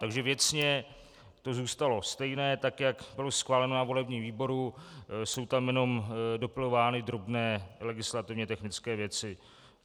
Takže věcně to zůstalo stejné tak jak bylo schváleno na volebním výboru, jsou tam jen dopilovány drobné legislativně technické věci.